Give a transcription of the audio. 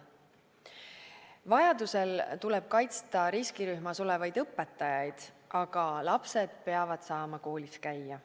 Vajadusel tuleb kaitsta riskirühmas olevaid õpetajaid, aga lapsed peavad saama koolis käia.